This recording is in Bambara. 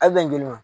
Ali tɛ nolo